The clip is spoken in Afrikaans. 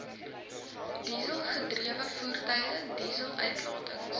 dieselgedrewe voertuie dieseluitlatings